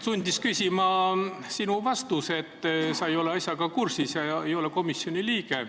Sundis küsima sinu vastus, et sa ei ole asjaga kursis ega ole komisjoni liige.